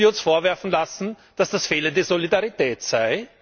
Und dann müssen wir uns vorwerfen lassen, dass das fehlende Solidarität sei?